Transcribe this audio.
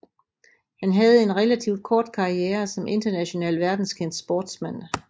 Han havde en relativt kort karriere som international verdenskendt sportsmand